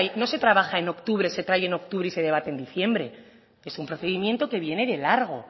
no se trabaja en octubre se trae en octubre y se debate en diciembre es un procedimiento que viene de largo